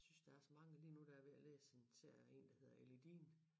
Jeg synes der er så mange lige nu er jeg ved at læse en serie af én af hedder Ellie Dean